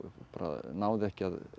náði ekki